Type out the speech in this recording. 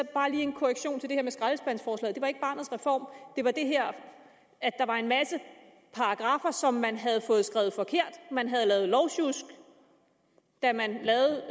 bare lige en korrektion til det her med skraldespandsforslaget det var ikke barnets reform det var det her at der var en masse paragraffer som man havde fået skrevet forkert man havde lavet lovsjusk da man lavede